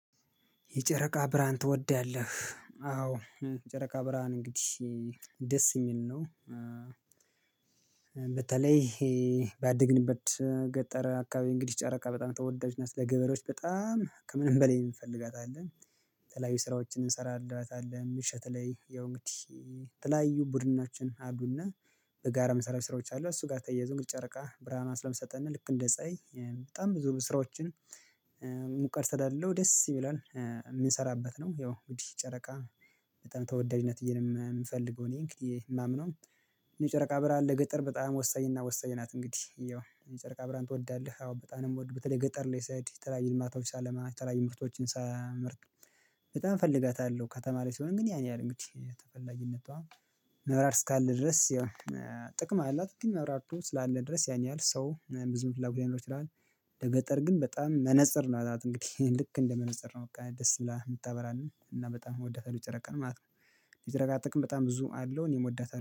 የጨረቃ ብርሃን ትወዳለህ? አዎ የጨረቃ ብርሃን እንግዲህ ደስ የሚል ነው። በተለይ ባደግንበት ገጠር አካባቢ እንግዲህ ጨረቃ በጣም ተወዳጅ ለ ገበሬዎች በጣም ከምንም በላይ እንፈልጋታለን። ተላያዩይ ስራዎችን እንሰራለን ምሽት ላይ ያው እንግዲህ ተላያዩ ቡድናችን አሉና በጋራ መሰረት ስራዎች አሉ። እሱ ጋር ተያይዞ እንግዲህ ጨረቃ ብርሃን ስለምሰጠን ልክ እንደ ጸኡአይ በጣም ብዙ ስራዎችን። ሙቀት ስላለው ደስ ይላል የምንሰራበት ነው። ያው እንግዲ ጨረቃ በጣም ተወዳጅነት እየልም የምፈልገው እኔ እንግዲህ የማምነው እኔ የጨረቃ ብርሃን ለገጠር በጣም ወሳኝ እና ወሳኝ ናት። እንግዲህ ያው የጨረቃ ብርሃን ትወዳለህ? አዎ በጣም ነው የምወድበት በተለይ ገጠር ላይ ስሄድ ተላይ የማታውስ አለማ ተላይ ምርቶችን ሳመርት በጣም እፈልጋታለሁ። ከተማ ላይ ስሆን ግን ያኔ አለ እንግዲህ ተፈላጊነቷ መብራት እስካለ ድረስ ያው ጥቅም አላት ግን መብራቶ ስላለ ድረስ ያኛል ሰው ብዙ መብራት ብለው ትላለች። ለገጠር ግን በጣም መነፅር ናት እንግዲህ ልክ እንደመነጽር ነው ደስ ይላል የምታበራን እና በጣም የምወዳት ጨረቃን ማለት ነው። ሊደረጋት ጥቅም በጣም ብዙ አለው እኔም እወዳትአለው